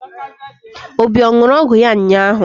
Obi a ṅụrụ ọgwụ ya ụnyaahụ?